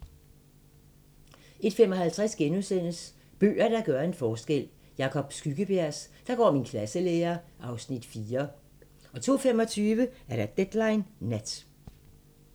01:55: Bøger, der gør en forskel: Jacob Skyggebjergs "Der går min klasselærer" (Afs. 4)* 02:25: Deadline Nat